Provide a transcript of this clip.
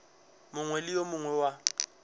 mongwe le yo mongwe wa